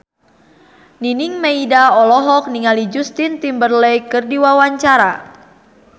Nining Meida olohok ningali Justin Timberlake keur diwawancara